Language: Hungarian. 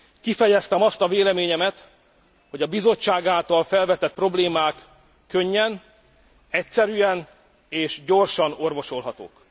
Kifejeztem azt a véleményemet, hogy a Bizottság által felvetett problémák könnyen, egyszerűen és gyorsan orvosolhatók.